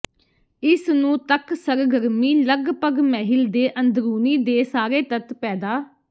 ਇਸ ਨੂੰ ਤੱਕ ਸਰਗਰਮੀ ਲੱਗਭਗ ਮਹਿਲ ਦੇ ਅੰਦਰੂਨੀ ਦੇ ਸਾਰੇ ਤੱਤ ਪੈਦਾ